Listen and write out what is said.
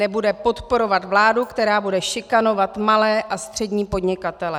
Nebude podporovat vládu, která bude šikanovat malé a střední podnikatele.